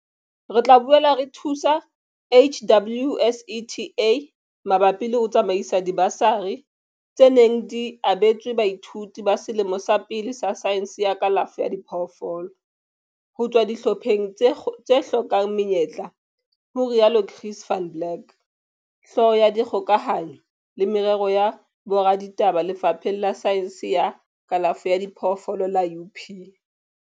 Re tla boela re thuse HWSETA mabapi le ho tsamaisa dibasari, tse neng di abetswe baithuti ba selemo sa pele sa saense ya kalafo ya diphoofolo ho tswa dihlopheng tse hlokang menyetla, ho rialo Chris van Blerk, Hlooho ya Dikgokahanyo le Merero ya Boraditaba Lefapheng la Saense ya Kalafo ya Diphoofolo la UP.